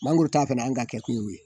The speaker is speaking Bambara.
Mangoro ta fɛnɛ an ka kɛkun ye o ye